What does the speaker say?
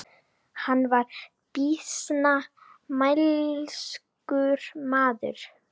Hann var býsna mælskur maður.